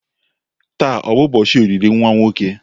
Taa ọ bụ ụbọchị olili nwa nwoke?